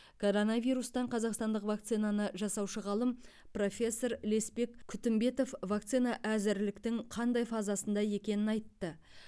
коронавирустан қазақстандық вакцинаны жасаушы ғалым профессор леспек күтімбетов вакцина әзірліктің қандай фазасында екенін айтты